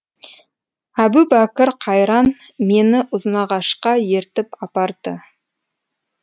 әбубәкір қайран мені ұзынағашқа ертіп апарды